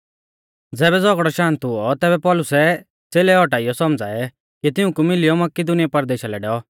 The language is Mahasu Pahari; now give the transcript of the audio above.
ज़ैबै झ़ौगड़ौ शान्त हुऔ तैबै पौलुसै च़ेलै औटाइयौ सौमझ़ाऐ और तिऊंकु मिलियौ मकिदुनीया परदेशा लै डैऔ